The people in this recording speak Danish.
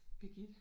Birgitte